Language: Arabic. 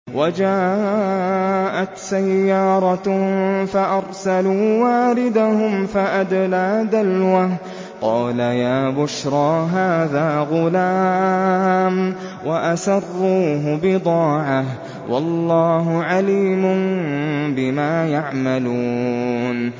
وَجَاءَتْ سَيَّارَةٌ فَأَرْسَلُوا وَارِدَهُمْ فَأَدْلَىٰ دَلْوَهُ ۖ قَالَ يَا بُشْرَىٰ هَٰذَا غُلَامٌ ۚ وَأَسَرُّوهُ بِضَاعَةً ۚ وَاللَّهُ عَلِيمٌ بِمَا يَعْمَلُونَ